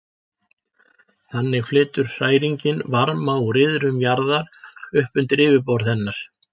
Þannig flytur hræringin varma úr iðrum jarðar upp undir yfirborð hennar.